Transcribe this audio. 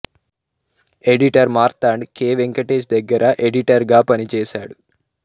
editor Marthand K Venkatesh దగ్గర editor గా పనిచేశాడు